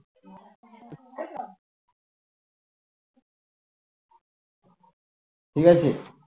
ঠিকাছে